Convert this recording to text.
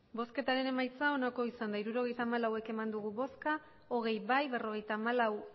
emandako botoak hirurogeita hamalau bai hogei ez berrogeita hamalau